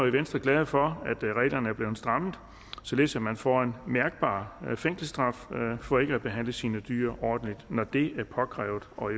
i venstre glade for at reglerne er blevet strammet således at man får en mærkbar fængselsstraf for ikke at behandle sine dyr ordentligt når det er påkrævet og